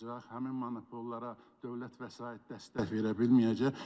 Həmin monopollara dövlət vəsait dəstək verə bilməyəcək.